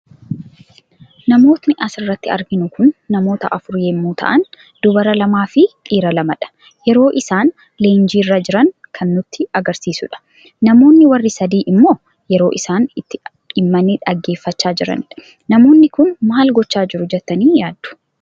Namootni asirratti arginu kun namoota afuur yemmu ta'aan dubara lamaa fi dhiira lamadha. yeroo isaan leenjiirra jiran kan nutti agarsiisudha. Namoonnni warri sadii immo yeroo isaan itti dhimmani dhaggeeffacha jiranidha. Namoonni kun maal gocha jiru jettani yaaddu?